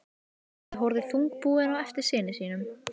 Smári horfði þungbúinn á eftir syni sínum.